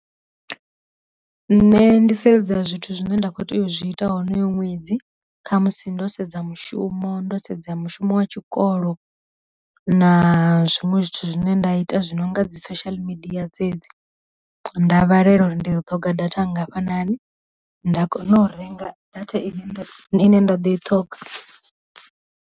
Nṋe ndi sedza zwithu zwine nda kho tea u zwi ita honoyo ṅwedzi kha musi ndo sedza mushumo, ndo sedza mushumo wa tshikolo na zwiṅwe zwithu zwi zwine nda ita zwi no nga dzi social media dzedzi, nda balelwa uri ndi ḓo ṱhonga data ngafhani nda kona u renga data ine nṋe nda ḓo i ṱhoga.